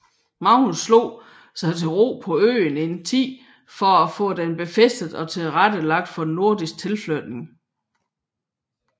Magnus slog sig til ro på øen en tid for at få den befæstet og tilrettelagt for norsk tilflytning